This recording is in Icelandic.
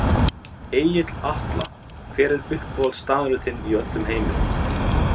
Egill Atla Hver er uppáhaldsstaðurinn þinn í öllum heiminum?